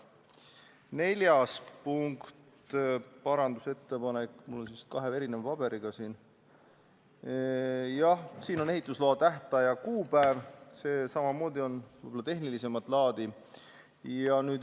Neljas parandusettepanek puudutab ehitusloa tähtaja kuupäeva, see on samuti tehnilisemat laadi.